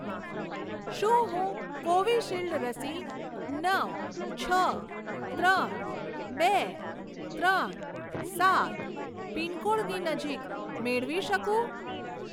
શું હું કોવિશીલ્ડ રસી નવ છ ત્રણ બે ત્રણ સાત પિનકોડની નજીક મેળવી શકું?